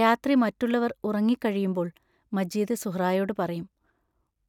രാത്രി മറ്റുള്ളവർ ഉറങ്ങിക്കഴിയുമ്പോൾ മജീദ് സുഹ്റായോടു പറയും: